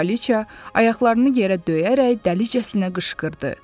Kraliçea ayaqlarını yerə döyərək dəlicəsinə qışqırdı.